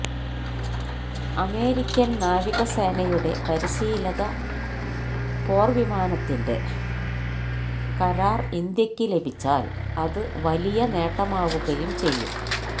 American നാവിക സേനയുടെ പരിശീലക പോര്വിമാനത്തിന്റെ കരാര് ഇന്ത്യക്ക് ലഭിച്ചാല് അത് വലിയ നേട്ടമാവുകയും ചെയ്യും